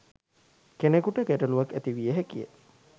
කෙනෙකුට ගැටලුවක් ඇතිවිය හැකිය